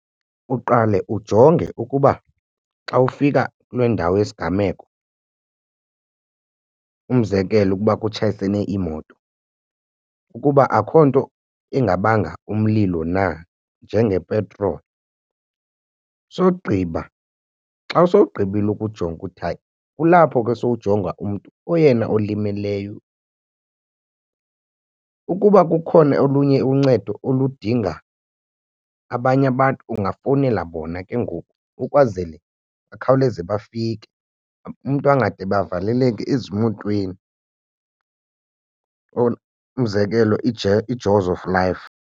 Uqale ujonge ukuba xa ufika kule ndawo yesigameko umzekelo ukuba kutshayisene iimoto ukuba akukho nto ingabanga umlilo na njengepetroli, sogqiba xa sowugqibile ukujonga uthi hayi kulapho ke sowujonga umntu oyena olimeleyo. Ukuba kukhona olunye uncedo oludinga abanye abantu ungafowunela bona ke ngoku ukwazele bakhawuleze bafike umntu angade bavaleleke ezimotweni umzekelo iJaws of Life.